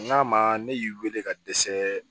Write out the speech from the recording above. N'a ma ne y'i wele ka dɛsɛ